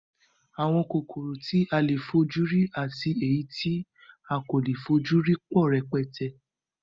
Àwọn kòkòrò tí a le fojú rí àti èyí tí a kò lè fojú rí pọ̀ rẹpẹtẹ